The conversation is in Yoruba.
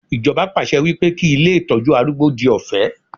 Ijoba pàṣẹ wípé kí ilé Ìtọ́jú arúgbó di ọ̀fẹ́.